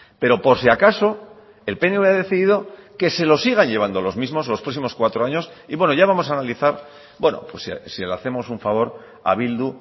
pero por si acaso el pnv ha decidido que se lo sigan llevando los mismos los próximos cuatro años y bueno ya vamos a analizar bueno si le hacemos un favor a bildu